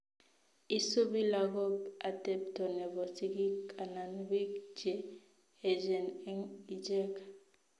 Isubii lagok atepto nebo sigik anan biik che echen eng ichek